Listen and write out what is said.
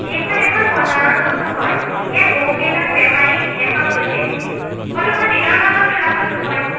এইখন এখন বজাৰৰ ফটো হয় ইয়াত বহুকেইজন বেপাৰী দেখাও গৈছে ফটো খন দিনৰ ভাগত তোলা ফটো হয়।